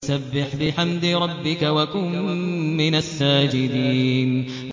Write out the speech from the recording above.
فَسَبِّحْ بِحَمْدِ رَبِّكَ وَكُن مِّنَ السَّاجِدِينَ